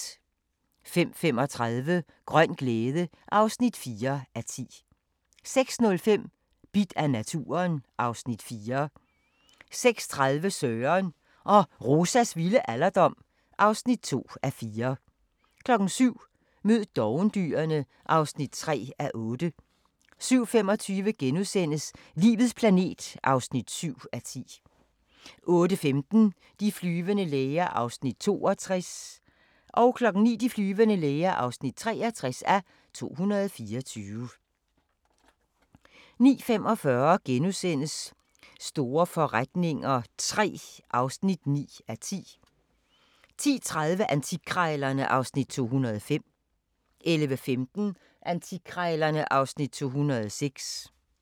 05:35: Grøn glæde (4:10) 06:05: Bidt af naturen (Afs. 4) 06:30: Søren og Rosas vilde alderdom (2:4) 07:00: Mød dovendyrene (3:8) 07:25: Livets planet (7:10)* 08:15: De flyvende læger (62:224) 09:00: De flyvende læger (63:224) 09:45: Store forretninger III (9:10)* 10:30: Antikkrejlerne (Afs. 205) 11:15: Antikkrejlerne (Afs. 206)